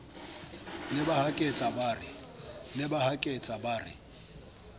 ne ba haketse ba re